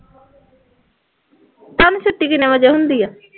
ਤੁਹਾਨੂੰ ਛੁੱਟੀ ਕਿੰਨੇ ਵਜੇ ਹੁੰਦੀ ਹੈ